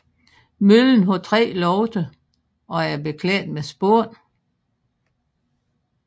Møllen har tre lofter og er beklædt med spån